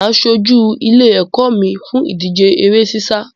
Mà á ṣojú ilé-ẹ̀kọ́ mi fún ìdíje eré sísá.